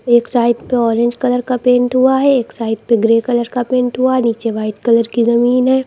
एक साइड पे orange colour का पेंट हुआ है। एक साइड पे ग्रे कलर का पेंट हुआ है। नीचे वाइट कलर की जमीन है।